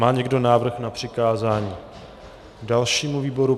Má někdo návrh na přikázání dalšímu výboru?